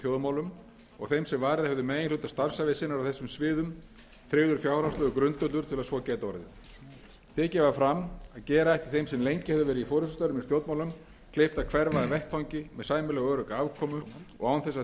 þjóðmálum og þeim sem varið hefðu meginhluta starfsævi sinnar á þessum sviðum tryggður fjárhagslegur grundvöllur til að svo gæti orðið tekið var fram að gera ætti þeim sem lengi hefðu verið í forustustörfum í stjórnmálum kleift að hverfa af vettvangi með sæmilega örugga afkomu og án þess að þeir